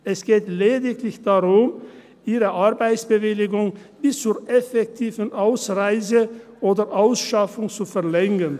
Es geht lediglich darum, ihrer Arbeitsbewilligung bis zur effektiven Ausreise oder Ausschaffung zu verlängern.